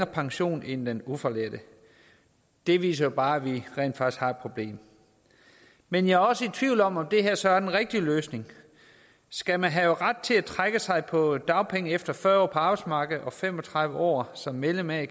pension end den ufaglærte det viser jo bare at vi rent faktisk har et problem men jeg er også i tvivl om om det her så er den rigtige løsning skal man have ret til at trække sig tilbage på dagpenge efter fyrre år på arbejdsmarkedet og fem og tredive år som medlem af en